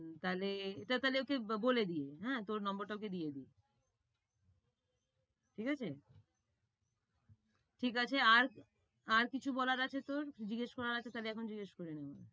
তাইলে, এটা তাইলে ওকে বলে দিই। হ্যাঁ, তোর number টা ওকে দিয়ে দিই, ঠিক আছে? ঠিক আছে, আর আর কিছু বলার আছে তোর, জিজ্ঞেস করার আছে? তাহলে এখন জিজ্ঞেস করে নিবো।